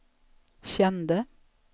kände